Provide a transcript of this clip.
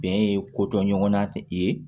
Bɛn ye kodɔn ɲɔgɔnna ye